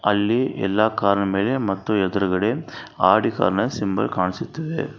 ಅಲ್ಲಿ ಎಲ್ಲಾ ಕಾರ್ ನ ಮೇಲೆ ಮತ್ತು ಎದ್ರುಗಡೆ ಆಡಿ ಕಾರ್ ನ ಸಿಂಬಲ್ ಕಾಣಿಸುತ್ತಿದೆ.